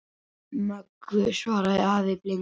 Möggu, svaraði afi blindi.